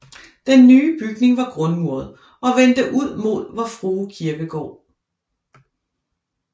Den nye bygning var grundmuret og vendte ud mod Frue kirkegård